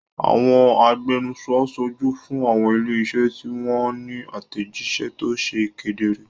Àwọn agbẹnusọ ń ṣojú fún àwọn ilé-iṣẹ́ tí wọ́n ní àtẹ̀jíṣẹ́ tó ṣe kedere.